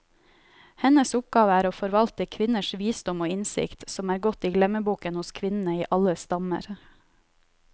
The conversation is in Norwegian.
Hennes oppgave er å forvalte kvinners visdom og innsikt, som er gått i glemmeboken hos kvinnene i alle stammer.